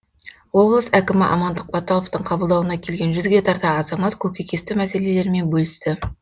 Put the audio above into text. облыс әкімі амандық баталовтың қабылдауына келген жүзге тарта азамат көкейкесті мәселелерімен бөлісті